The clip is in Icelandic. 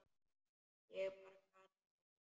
Ég bara gat það ekki.